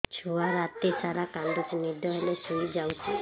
ଛୁଆ ରାତି ସାରା କାନ୍ଦୁଚି ଦିନ ହେଲେ ଶୁଇଯାଉଛି